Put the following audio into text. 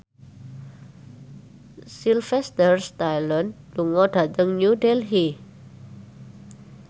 Sylvester Stallone lunga dhateng New Delhi